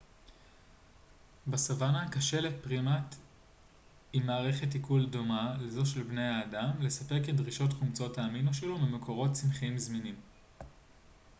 בסוואנה קשה לפרימט עם מערכת עיכול דומה לזו של בני האדם לספק את דרישות חומצות האמינו שלו ממקורות צמחיים זמינים